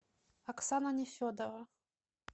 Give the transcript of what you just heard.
оксана нефедова